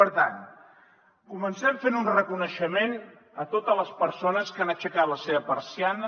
per tant comencem fent un reconeixement a totes les persones que han aixecat la seva persiana